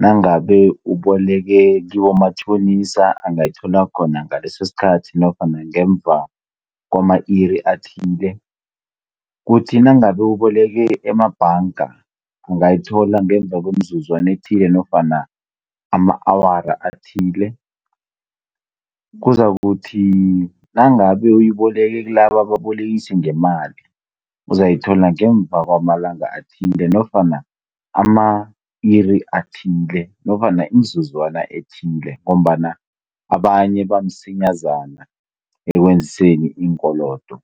Nangabe uboleke kibomatjhonisa angayithola khona ngaleso sikhathi namkha ngemuva kwama-iri athile. Kuthi nangabe uboleke emabhanga, ungayithola ngemuva kwemizuzwana ethile nofana ama-awara athile. Kuzakuthi nangabe uyiboleke kilaba ababolekisi ngemali, uzayithola ngemuva kwamalanga athile nofana ama-iri athile nofana imizuzwana athile ngombana abanye bamsinyazana ekweniseni iinkolodo.